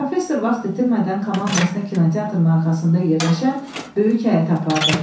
Professor vaxt itirmədən komandasına kinoteatrın arxasında yerləşən böyük həyətə apardı.